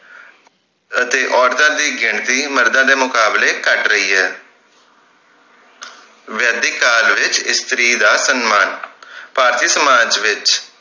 ਅਤੇ ਔਰਤਾਂ ਦੀ ਗਿਣਤੀ ਮਰਦਾਂ ਦੇ ਮੁਕਾਬਲੇ ਘੱਟ ਰਹੀ ਹੈ ਵੈਦਿਕ ਕਾਲ ਵਿਚ ਇਸਤਰੀ ਦਾ ਸੰਮਾਨ ਭਾਰਤੀ ਸਮਾਜ ਵਿਚ